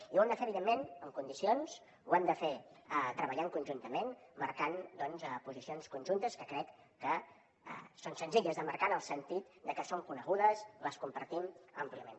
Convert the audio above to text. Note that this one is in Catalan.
i ho hem de fer evidentment amb condicions ho hem de fer treballant conjuntament marcant doncs posicions conjuntes que crec que són senzilles de marcar en el sentit de que són conegudes les compartim àmpliament